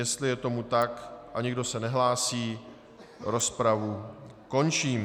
Jestli je tomu tak a nikdo se nehlásí, rozpravu končím.